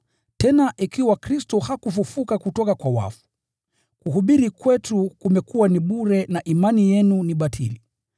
Tena ikiwa Kristo hakufufuliwa kutoka kwa wafu, kuhubiri kwetu kumekuwa ni bure na imani yenu ni batili.